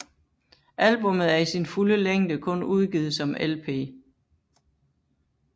Albummet er i sin fulde længde kun udgivet som LP